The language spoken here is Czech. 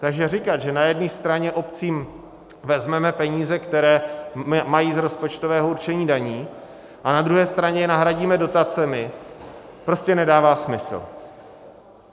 Takže říkat, že na jedné straně obcím vezmeme peníze, které mají z rozpočtového určení daní, a na druhé straně je nahradíme dotacemi, prostě nedává smysl.